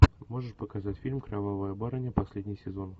можешь показать фильм кровавая барыня последний сезон